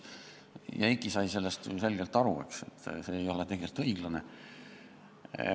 Eiki sai sellest ju selgelt aru, et see ei ole tegelikult õiglane.